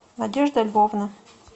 надежда львовна